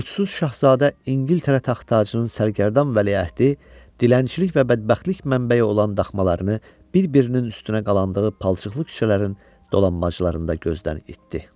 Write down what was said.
Yurdsuz Şahzadə, İngiltərə taxt-tacının sərgərdan vəliəhdi dilənçilik və bədbəxtlik mənbəyi olan daxmalarını bir-birinin üstünə qalandığı palçıqlı küçələrin dolanbacılarında gözdən itdi.